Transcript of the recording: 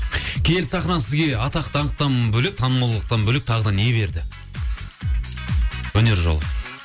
киелі сахна сізге атақ даңқтан бөлек танымалдықтан бөлек тағы да не берді өнер жолы